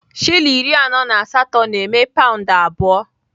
Shilling iri anọ na asatọ na-eme paụnd abụọ.